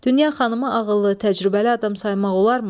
Dünya xanımı ağıllı, təcrübəli adam saymaq olarmı?